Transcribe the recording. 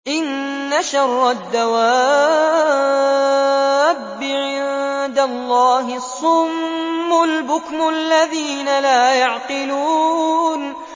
۞ إِنَّ شَرَّ الدَّوَابِّ عِندَ اللَّهِ الصُّمُّ الْبُكْمُ الَّذِينَ لَا يَعْقِلُونَ